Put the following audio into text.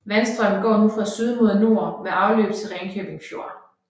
Vandstrømmen går nu fra syd mod nord med afløb til Ringkøbing Fjord